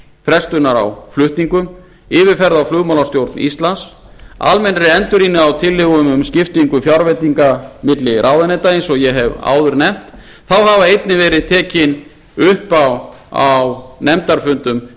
frestunar á flutningum yfirferð á flugmálastjórn íslands almennri endurrýni á tillögum um skiptingu fjárveitinga á milli ráðuneyta eins og ég hef áður nefnt þá hafa einnig verið tekin upp á nefndarfundum